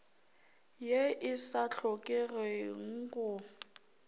ye e sa hlokeng go